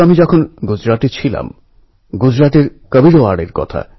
নিজেদের আশেপাশে তাকালে আমরা এমন কত উদাহরণই পেয়ে যাব